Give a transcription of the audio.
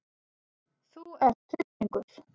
Þú ert hryllingur!